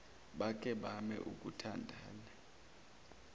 bake bame ukuthandana